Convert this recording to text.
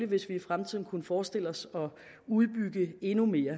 hvis vi i fremtiden kunne forestille os at udbygge endnu mere